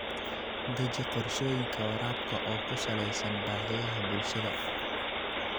Deji qorshooyinka waraabka oo ku salaysan baahiyaha bulshada.